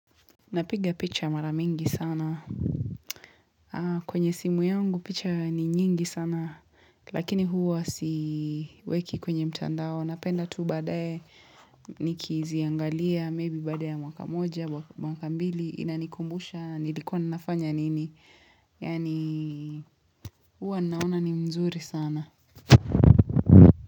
Napiga picha maramingi sana. Kwenye simu yangu picha ni nyingi sana. Lakini huwa siweki kwenye mtandao. Napenda tu badae nikiziangalia. Maybe baada ya mwaka moja, mwaka mbili. Inanikumbusha. Nilikuwa ninafanya nini? Yani huwa naona ni mzuri sana.